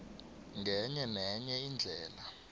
ngenye nenye indlela